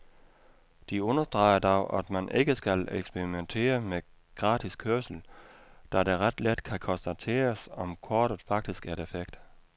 De understreger dog, at man ikke skal eksperimentere med gratis kørsel, da det ret let kan konstateres, om kortet faktisk er defekt.